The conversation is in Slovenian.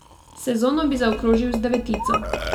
Sezono bi zaokrožil z devetico.